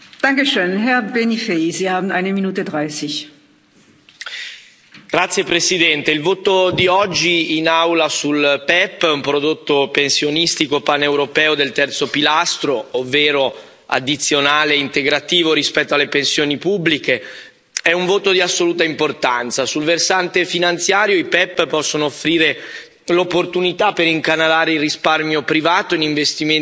Signora Presidente, onorevoli colleghi, il voto di oggi in Aula sul PEPP, un prodotto pensionistico paneuropeo del terzo pilastro, ovvero addizionale e integrativo rispetto alle pensioni pubbliche, è un voto di assoluta importanza. Sul versante finanziario, i PEPP possono offrire l'opportunità per incanalare il risparmio privato in investimenti produttivi, contribuendo così a stimolare